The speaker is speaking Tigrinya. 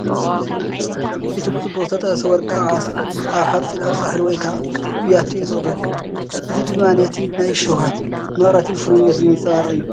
እቲ ብጽቡቕ ዝተጠብሰ ወርቃዊ ዓሳ ኣብ ሓጺናዊ ጻሕሊ ወይ ከዓ ብያቲ እዩ ዝቐርብ። እዚ ድማ ነቲ ናይ ሸውሃትን መቐረትን ፍሩይነትን ዘንጸባርቕ እዩ።